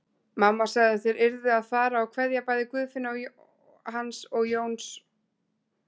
Mamma sagði að þeir yrðu að fara og kveðja bæði Guðfinnu hans Jóns og